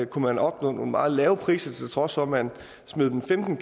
kunne man opnå nogle meget lave priser til trods for at man smed dem femten